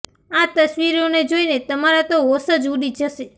આ તસવીરોને જોઇને તમારા તો હોંશ જ ઉડી જશે